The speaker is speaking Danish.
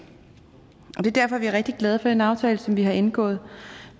derfor er vi rigtig glade for den aftale som vi har indgået